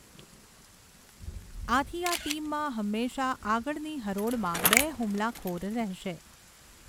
આથી આ ટીમમાં હંમેશાં આગળની હરોળમાં બે હુમલાખોર રહેશે.